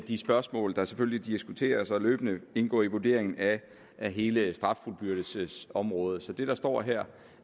de spørgsmål der selvfølgelig diskuteres og løbende indgå i vurderingen af hele straffuldbyrdelsesområdet så det der står her